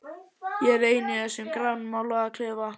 Ég er ein í þessum grænmálaða klefa.